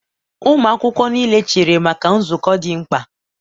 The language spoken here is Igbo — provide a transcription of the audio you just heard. ụmụ akwụkwọ niile chere maka nzukọ dị mkpa!